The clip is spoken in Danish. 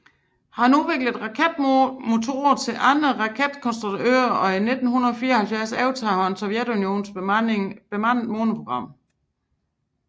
Han udviklede raketmotorer til andre raketkonstruktører og i 1974 overtog han Sovjetunionens bemandede måneprogram